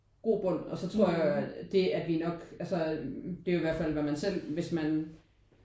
Grobund og så tror jeg det at vi nok altså det er jo i hvert fald hvad man selv hvis man